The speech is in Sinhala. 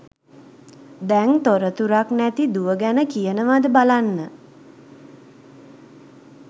දැං තොරතුරක් නැති දුව ගැන කියනවද බලන්න